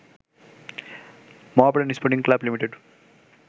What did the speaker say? Mohammedan Sporting Club limited